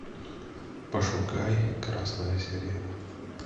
пошукай красная сирена